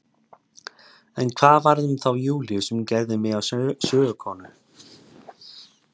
En hvað varð um þá Júlíu sem gerði mig að sögukonu?